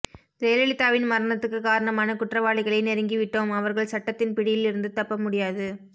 ஜெயலலிதாவின் மரணத்துக்குக் காரணமான குற்றவாளிகளை நெருங்கிவிட்டோம் அவர்கள் சட்டத்தின் பிடியில் இருந்து தப்ப முடியாது